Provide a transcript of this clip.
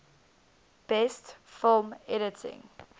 best film editing